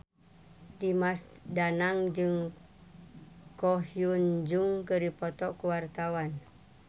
Dimas Danang jeung Ko Hyun Jung keur dipoto ku wartawan